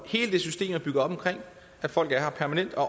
hele det system er bygget op om at folk er her permanent og